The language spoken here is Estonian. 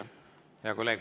Hea kolleeg!